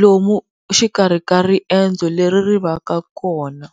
lomu xikarhi ka riendzo leri ri va ka kona.